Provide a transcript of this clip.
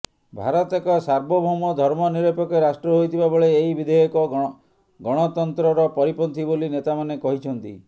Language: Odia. ଭାରତ ଏକ ସାର୍ବଭୌମ ଧର୍ମ ନିରପେକ୍ଷ ରାଷ୍ଟ୍ର ହୋଇଥିବା ବେଳେ ଏହି ବିଧେୟକ ଗଣତନ୍ତ୍ରରପରିପନ୍ଥୀ ବୋଲି ନେତାମାନେ କହିଛନ୍ତି